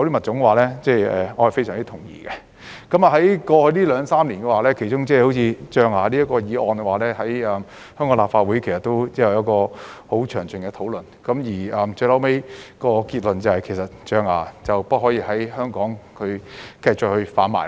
在過去兩三年，象牙這個議題在香港立法會其實已有十分詳盡的討論，最後得出的結論是象牙不可繼續在香港販賣。